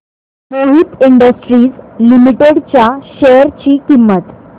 Mohit industries limited च्या share ची किंमत